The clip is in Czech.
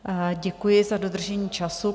Děkuji za dodržení času.